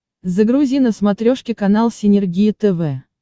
загрузи на смотрешке канал синергия тв